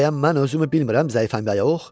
Bəyəm mən özümü bilmirəm zəifəm, yox?